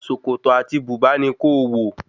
Sòkòtò àti bùbá ni kó-o-wò